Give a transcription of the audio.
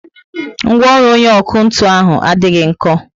Ngwaọrụ onye ọkụ ntụ ahụ adịghị nko